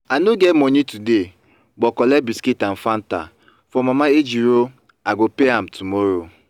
i no get money today but collect biscuit and fanta from mama ejiro i go pay am tomorrow